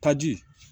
Taji